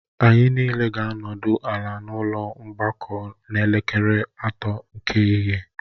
Anyị niile ga-anọdị ala n'ụlọ mgbakọ n'elekere atọ nke ehihie